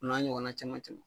O n'a ɲɔgɔnna caman caman